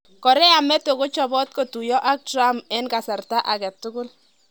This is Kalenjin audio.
Korea meto kochopot kotuyo ak Trump 'en kasarta agetukul '